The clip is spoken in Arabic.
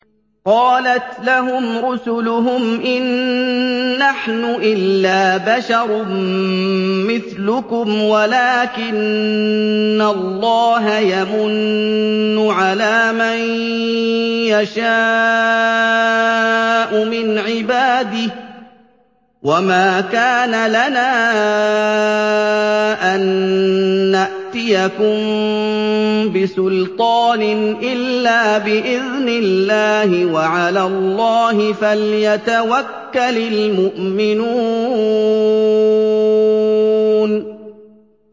قَالَتْ لَهُمْ رُسُلُهُمْ إِن نَّحْنُ إِلَّا بَشَرٌ مِّثْلُكُمْ وَلَٰكِنَّ اللَّهَ يَمُنُّ عَلَىٰ مَن يَشَاءُ مِنْ عِبَادِهِ ۖ وَمَا كَانَ لَنَا أَن نَّأْتِيَكُم بِسُلْطَانٍ إِلَّا بِإِذْنِ اللَّهِ ۚ وَعَلَى اللَّهِ فَلْيَتَوَكَّلِ الْمُؤْمِنُونَ